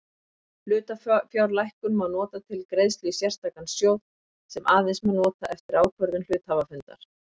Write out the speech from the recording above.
Hlutafjárlækkun má nota til greiðslu í sérstakan sjóð sem aðeins má nota eftir ákvörðun hluthafafundar.